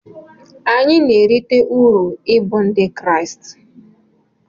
Anyị na-erite uru ịbụ Ndị Kraịst.